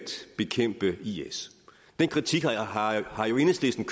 bekæmpe is den kritik har enhedslisten